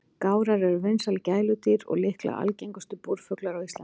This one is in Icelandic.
Gárar eru vinsæl gæludýr og líklega algengustu búrfuglar á Íslandi.